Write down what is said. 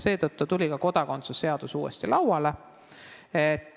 Seetõttu tuli ka kodakondsuse seadus uuesti lauale.